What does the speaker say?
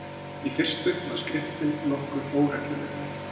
Í fyrstu var skriftin nokkuð óregluleg.